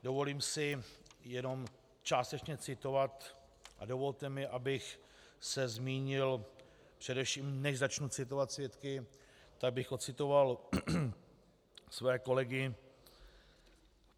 Dovolím si jenom částečně citovat a dovolte mi, abych se zmínil především, než začnu citovat svědky, tak bych odcitoval své kolegy.